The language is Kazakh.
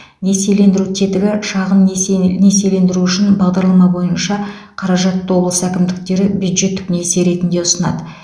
несиелендіру тетігі шағын несие несиелендіру үшін бағдарлама бойынша қаражатты облыс әкімдіктері бюджеттік несие ретінде ұсынады